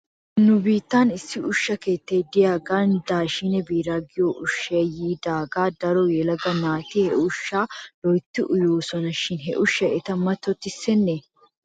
Nu biittan issi ushsha keettay de'iyaagan daashshin biiraa giyoo ushshay yiidaagaa daro yelaga naati he ushshaa loyttidi uyoosona shin he ushshay eta mattottissenee?